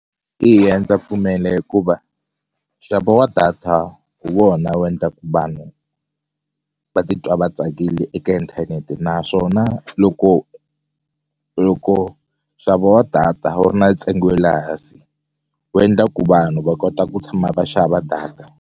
Eya ndza pfumela hikuva nxavo wa data hi vona wu yendlaku vanhu va titwa va tsakile eka inthanete naswona loko loko nxavo wa data wu ri na ntsengo we le hansi wu endla ku vanhu va kota ku tshama va xava data.